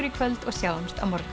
í kvöld og sjáumst á morgun